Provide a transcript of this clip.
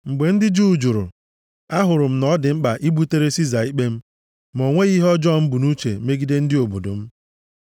Ma mgbe ndị Juu jụrụ, ahụrụ m na ọ dị mkpa ibutere Siza ikpe m. Ma o nweghị ihe ọjọọ m bu nʼuche megide ndị obodo m.